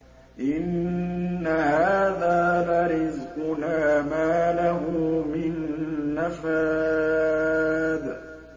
إِنَّ هَٰذَا لَرِزْقُنَا مَا لَهُ مِن نَّفَادٍ